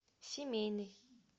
семейный